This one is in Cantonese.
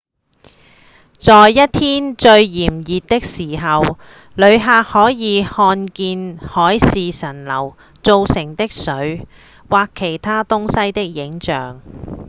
在一天最炎熱的時候旅客可以看見海市蜃樓造成的水或其他東西的影像